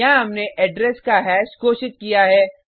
यहाँ हमने एड्रेस का हैश घोषित किया है